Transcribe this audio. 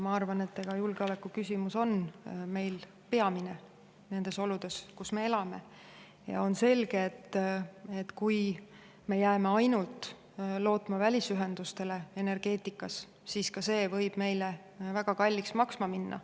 Ma arvan, et julgeolekuküsimus on meil peamine nendes oludes, kus me elame, ja on selge, et kui me jääme energeetikas lootma ainult välisühendustele, siis ka see võib meile väga kalliks maksma minna.